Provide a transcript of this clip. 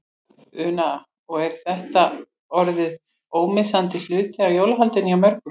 Una: Og er þetta orðið ómissandi hluti af jólahaldinu hjá mörgum?